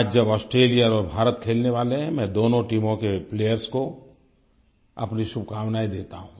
आज जब ऑस्ट्रेलिया और भारत खेलने वाले हैं मैं दोनों टीमों के प्लेयर्स को अपनी शुभकामनायें देता हूँ